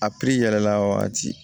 A yɛlɛla wagati